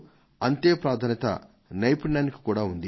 అంతే ప్రాధాన్యత నైపుణ్యానికీ ఉంది